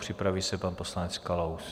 Připraví se pan poslanec Kalous.